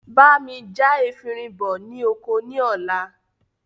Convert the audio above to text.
Bá mi já efinrin bọ ní oko ní ọ̀la